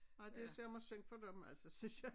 Nej det sørme synd for dem altså synes jeg